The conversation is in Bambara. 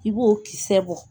I b'o kisɛ bɔ